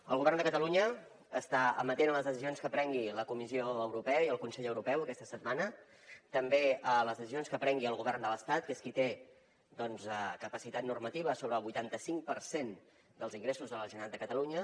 el govern de catalunya està amatent a les decisions que prenguin la comissió europea i el consell europeu aquesta setmana també a les decisions que prengui el govern de l’estat que és qui té doncs capacitat normativa sobre el vuitanta cinc per cent dels ingressos de la generalitat de catalunya